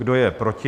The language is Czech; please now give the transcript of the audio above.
Kdo je proti?